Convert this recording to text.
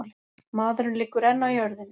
Maðurinn liggur enn á jörðinni.